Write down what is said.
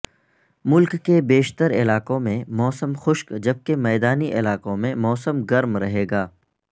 ملک کے بیشتر علاقوں میں موسم خشک جبکہ میدانی علاقوں میں موسم گرم رہے گا